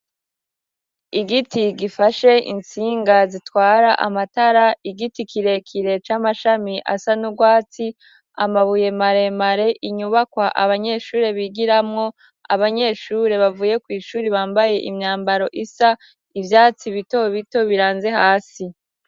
Igiti gifashe intsinga zitwara amatara ,igiti kirekire c'amashami asa n'ubwatsi amabuye maremare, inyubakwa abanyeshure bigiramo, abanyeshure bavuye kw' ishure bambaye imyambaro isa ,ivyatsi bitobito biranze hasi.